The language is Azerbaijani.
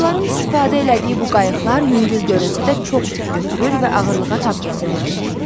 Hindlilərin istifadə elədiyi bu qayıqlar yüngül görünsə də çox yük götürür və ağırlığa tab gətirirdi.